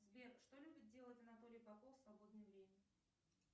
сбер что любит делать анатолий попов в свободное время